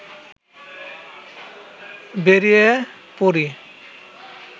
বেরিয়ে পড়ি